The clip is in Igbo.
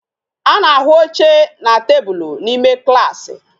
A na-ahụ oche na tebụl n'ime klaasị